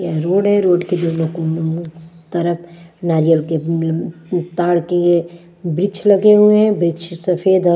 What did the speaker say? यह रोड है रोड के दोनों कोनो में तरफ नारियल के एं ताड़ किए वृक्ष लगे हुए हैं वृक्ष सफेद और--